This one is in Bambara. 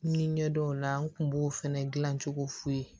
Ni ɲɛdaw la n kun b'o fɛnɛ dilan cogo f'i ye